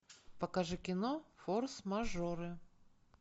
покажи кино форс мажоры